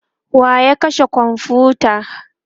wa ya kashe komfuta?